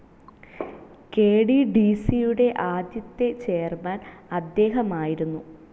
K T D C യുടെ ആദ്യത്തെ chairman അദ്ദേഹമായിരുന്നു.